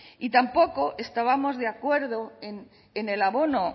y tampoco estábamos de acuerdo en el abono